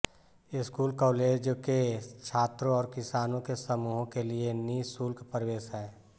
school college के छात्रों और किसानों के समूहों के लिए नि शुल्क प्रवेश है